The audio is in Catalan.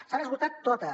s’han esgotat totes